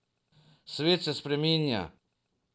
Svet se spreminja.